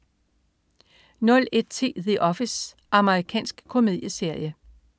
01.10 The Office. Amerikansk komedieserie